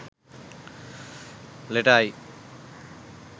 letter i